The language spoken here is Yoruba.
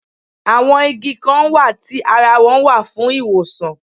Àwọn Igi Kan wà tí ara wọn wà fún ìwòsàn